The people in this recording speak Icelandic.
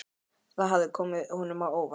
Það hafði komið honum á óvart.